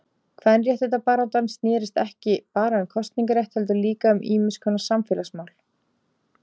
Kvenréttindabaráttan snérist ekki bara um kosningarétt heldur líka um ýmiskonar samfélagsmál.